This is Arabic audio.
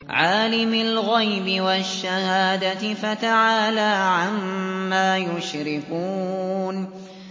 عَالِمِ الْغَيْبِ وَالشَّهَادَةِ فَتَعَالَىٰ عَمَّا يُشْرِكُونَ